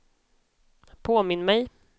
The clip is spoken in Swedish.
påminn mig